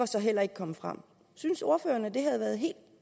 så heller ikke kommet frem synes ordføreren at det havde været helt